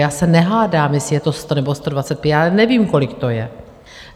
Já se nehádám, jestli je to 100 nebo 120, já nevím, kolik to je.